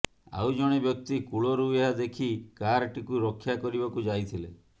ଆଉ ଜଣେ ବ୍ୟକ୍ତି କୂଳରୁ ଏହା ଦେଖି କାରଟିକୁ ରକ୍ଷା କରିବାକୁ ଯାଇଥିଲେ